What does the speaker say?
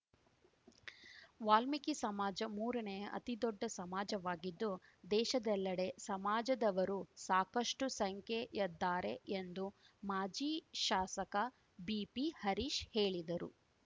ವಾಲ್ಮೀಕಿ ಸಮಾಜ ಮೂರನೇ ಅತಿ ದೊಡ್ಡ ಸಮಾಜವಾಗಿದ್ದು ದೇಶದೆಲ್ಲಡೆ ಸಮಾಜದವರು ಸಾಕಷ್ಟುಸಂಖ್ಯೆಯದ್ದಾರೆ ಎಂದು ಮಾಜಿ ಶಾಸಕ ಬಿಪಿಹರೀಶ್‌ ಹೇಳಿದರು